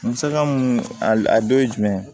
Musaka mun a dɔ ye jumɛn ye